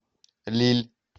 лилль